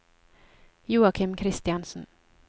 Joachim Christiansen